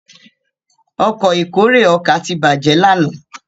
Ọkọ̀ ìkórè ọkà tí bàjé lànà